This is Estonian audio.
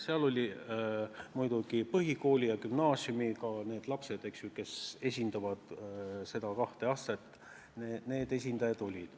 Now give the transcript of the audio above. Seal olid põhikooli ja gümnaasiumi lapsed, kes esindasid seda kahte astet – nende esindajad olid.